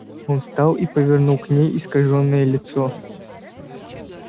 он встал и повернул к ней искажённое лицо